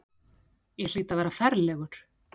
Ég hlýt að vera ferlegur.